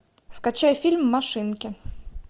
скачай фильм машинки